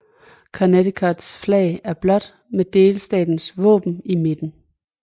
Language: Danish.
Connecticuts flag er blåt med delstatens våben i midten